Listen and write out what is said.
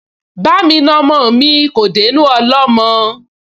Ba'mi na ọmọ mi kò dénú ọlọ́mọ